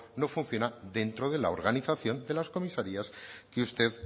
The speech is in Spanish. no funciona dentro de la organización de las comisarías que usted